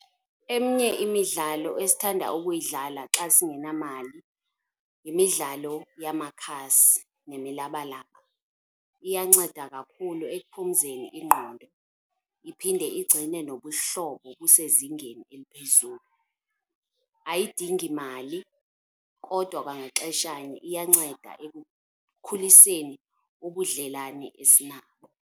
Eminye imidlalo esithanda ukuyidlala xa singenamali yimidlalo yamakhasi nemilabalaba. Iyanceda kakhulu ekuphumzeni ingqondo iphinde igcine nobuhlobo busezingeni eliphezulu. Ayidingi mali kodwa kwangaxeshanye iyanceda ekukhuliseni ubudlelwane esinabo.